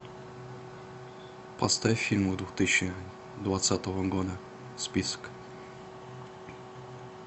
поставь фильмы две тысячи двадцатого года список